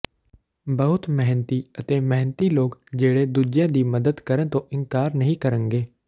ਬਹੁਤ ਮਿਹਨਤੀ ਅਤੇ ਮਿਹਨਤੀ ਲੋਕ ਜਿਹੜੇ ਦੂਜਿਆਂ ਦੀ ਮਦਦ ਕਰਨ ਤੋਂ ਇਨਕਾਰ ਨਹੀਂ ਕਰਨਗੇ